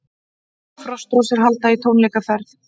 Frostrósir halda í tónleikaferð